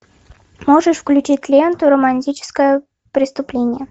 можешь включить ленту романтическое преступление